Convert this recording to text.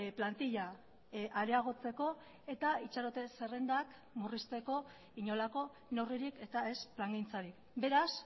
plantila areagotzeko eta itxarote zerrendak murrizteko inolako neurririk eta ez plangintzarik beraz